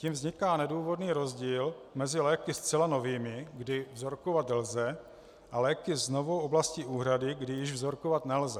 Tím vzniká nedůvodný rozdíl mezi léky zcela novými, kdy vzorkovat lze, a léky s novou oblastí úhrady, kdy již vzorkovat nelze.